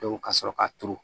ka sɔrɔ ka turu